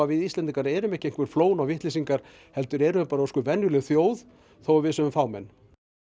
við Íslendingar erum ekki einhver flón og vitleysingar heldur erum við bara ósköp venjuleg þjóð þó að við séum fámenn